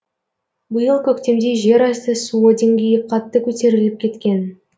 биыл көктемде жерасты суы деңгейі қатты көтеріліп кеткен